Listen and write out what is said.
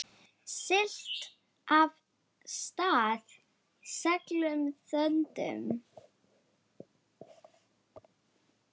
Siglt af stað seglum þöndum.